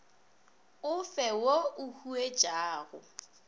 o fe wo o huetšago